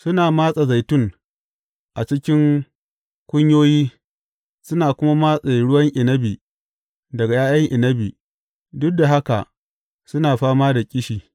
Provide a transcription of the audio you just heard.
Suna matse zaitun a cikin kunyoyi suna kuma matse ruwan inabi daga ’ya’yan inabi, duk da haka suna fama da ƙishi.